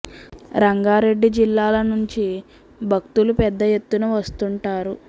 రంగారెడ్డి జిల్లా ల నుంచి భక్తులు పెద్ద ఎత్తు న వస్తుం టారు